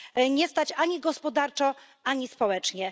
Nie stać ani gospodarczo, ani społecznie.